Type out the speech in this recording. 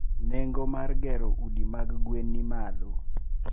Nengo mar gero udi mag gwen ni malo.